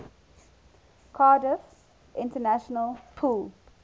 cardiff international pool